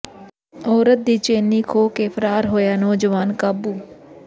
ਔਰਤ ਦੀ ਚੇਨੀ ਖੋਹ ਕੇ ਫ਼ਰਾਰ ਹੋਇਆ ਨੌਜਵਾਨ ਕਾਬੂ